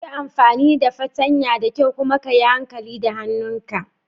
Yi amfani da fartanya da kyau kuma ka yi hankali da hannun ka.